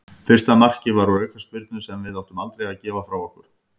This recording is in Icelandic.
Fyrsta markið var úr aukaspyrnu sem við áttum aldrei að gefa frá okkur.